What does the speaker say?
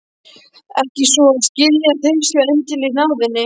Ekki svo að skilja að þeir séu endilega í náðinni.